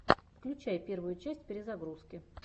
включай первую часть перезагрузки